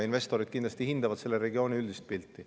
Investorid kindlasti hindavad selle regiooni üldist pilti.